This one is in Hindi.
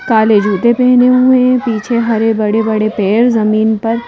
काले जूते पहने हुए पीछे हरे बड़े बड़े पेड़ जमीन पर--